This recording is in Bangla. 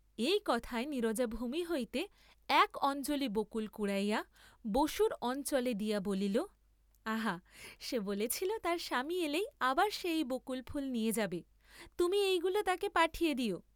এই কথায় নীরজা, ভূমি হইতে এক অঞ্জলি বকুল কুড়াইয়া বসুর অঞ্চলে দিয়া বলিল আহা, সে বলেছিল তার স্বামী এলেই আবার সে এই বকুল ফুল নিয়ে যাবে, তুমি এই গুলি তাকে পাঠিয়ে দিও।